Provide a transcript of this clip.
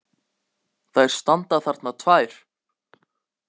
Þær standa þarna tvær!